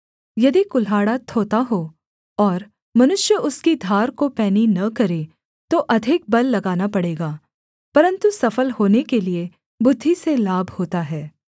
यदि कुल्हाड़ा थोथा हो और मनुष्य उसकी धार को पैनी न करे तो अधिक बल लगाना पड़ेगा परन्तु सफल होने के लिये बुद्धि से लाभ होता है